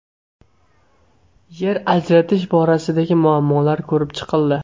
Yer ajratish borasidagi muammolar ko‘rib chiqildi.